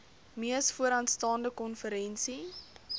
mees vooraanstaande konferensie